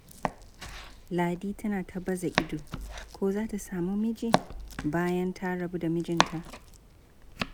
Ladi tana ta baza ido, ko za ta sami miji, bayan ta rabu da mijinta.